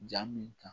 Jaa min kan